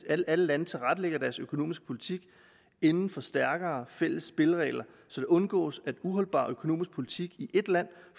at alle lande tilrettelægger deres økonomiske politik inden for stærkere fælles spilleregler så det undgås at uholdbar økonomisk politik i et land